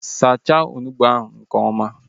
Sacha onugbu ahu nke ọma!